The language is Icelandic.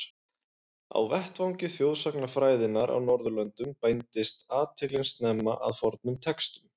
Á vettvangi þjóðsagnafræðinnar á Norðurlöndum beindist athyglin snemma að fornum textum.